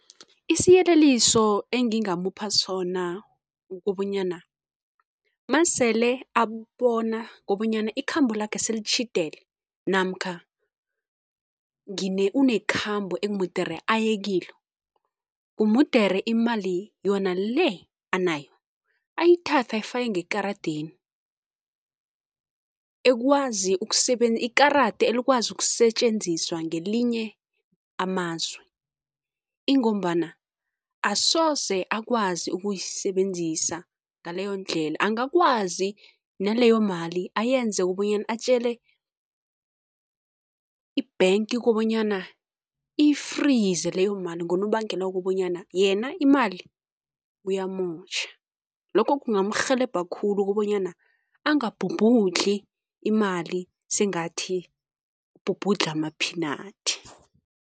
Isiyeleliso engingamupha sona ukobanyana, masele abona kobanyana ikhambo lakhe selitjhidele namkha unekhambo ekumudere ayekilo, umudere imali yona le anayo ayithathe ayifake ngekaradeni, ekwazi ikarada elikwazi ukusetjenziswa ngelinye amazwe ingombana asoze akwazi ukuyisebenzisa ngaleyondlela, angakwazi naleyomali ayenze ukubonyana atjele i-bank kobanyana iyifrize leyo mali ngonobangela wokobanyana, yena imali uyamotjha. Lokho kungamrhelebha khulu kobanyana angabhubhudli imale sengathi ubhubhudla ama-peanut.